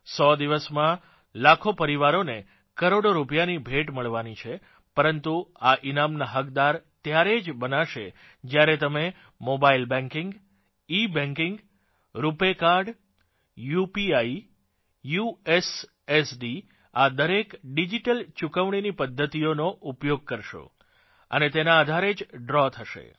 100 દિવસમાં લાખો પરિવારોને કરોડો રૂપિયાની ભેટ મળવાની છે પરંતુ આ ઇનામના હકદાર ત્યારેજ બનાશે જ્યારે તમે મોબાઇલ બેંકીંગ ઇબેંકીંગ રુપે કાર્ડRuPay કાર્ડ યુપીઆઇUPI યુએસએસડી યુએસએસડી આ ડિજીટલ ચુકવણીની પધ્ધતિઓનો ઉપયોગ કરશો અને તેના આધારે જ ડ્રો થશે